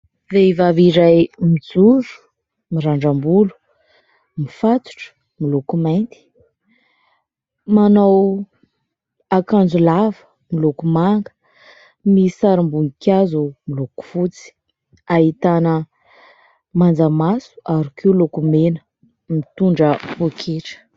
Vehivavy iray mijoro mirandram-bolo mifatotra miloko mainty, manao akanjo lava miloko manga misy sarim-boninkazo miloko fotsy. Ahitana manjamaso ary koa lokomena, mitondra poaketra.